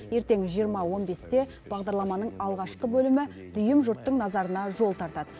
ертең жиырма он бесте бағдарламаның алғашқы бөлімі дүйім жұрттың назарына жол тартады